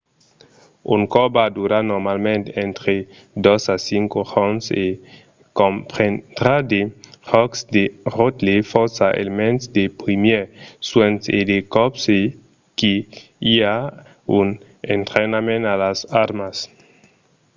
un cors va durar normalament entre 2 a 5 jorns e comprendrà de jòcs de ròtle fòrça elements de primièrs suènhs e de còps que i a un entrainament a las armas